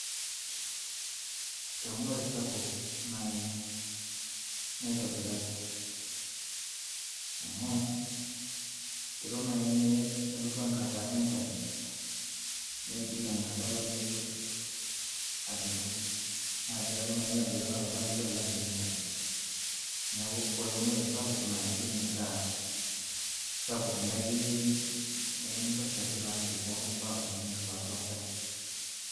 eunore sapuk naai, naitobiraki, amu kelo naai nelotu enkata enchan, neigil enkata olameyu alotu, naa kelo naaji nesapuku enkata olameyu alang ene nchan. neeku ore eunore sapuk naa itum edaa nikintosha teilo ameyu, mpaka kenya nelotu asha.